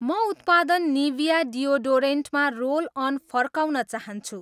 म उत्पादन निभिया डिओडोरेन्टमा रोल अन फर्काउन चाहन्छु